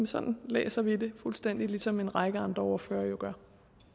sådan læser vi det fuldstændig ligesom en række andre ordførere